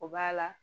O b'a la